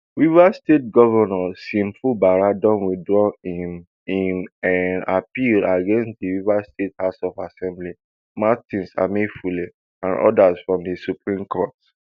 rivers state govnor sim fubara don withdraw im im um appeal against di rivers state house of assembly martins amaehule and odas from di supreme court